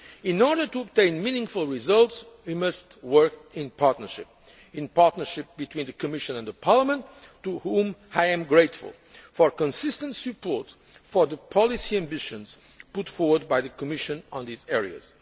In order to obtain meaningful results, we must work in partnership in partnership between the Commission and Parliament, to which I am grateful for consistent support for the policy ambitions put forward by the Commission in these